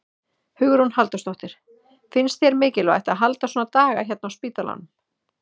Hugrún Halldórsdóttir: Finnst þér mikilvægt að halda svona daga hérna á spítalanum?